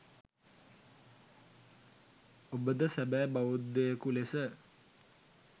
ඔබද සැබෑ බෞද්ධයෙකු ලෙස